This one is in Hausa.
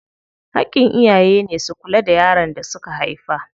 Haƙƙin iyaye ne su kula da yaron da suka haifa.